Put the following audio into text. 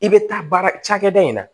I bɛ taa baara cakɛda in na